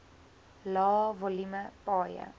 lae volume paaie